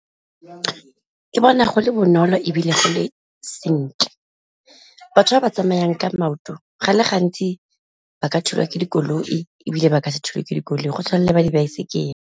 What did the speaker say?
Ke bona go le bonolo ebile go le sentle, batho ba ba tsamayang ka maoto go le gantsi ba ka thulwa ke dikoloi ebile ba ka se thulwe ke dikoloi go tshwana le ba dibaesekele.